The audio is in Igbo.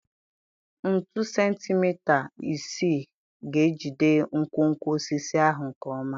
Ntu sentimita isii ga-ejide nkwonkwo osisi ahụ nke ọma.